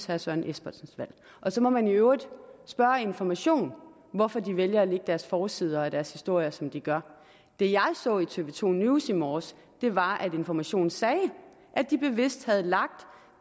herre søren espersens valg så må man i øvrigt spørge information hvorfor de vælger at lægge deres forsider og deres historier som de gør det jeg så i tv to news i morges var at information sagde at de bevidst havde lagt